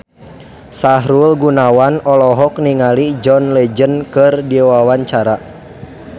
Sahrul Gunawan olohok ningali John Legend keur diwawancara